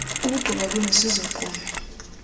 ukugqiba kwenu nizogqume